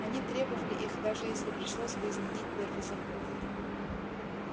они требовали их даже если пришлось бы изменить первый закон